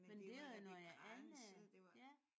Ja men det var når det er gratis så er det jo var